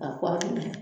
Ka kɔkɔ ni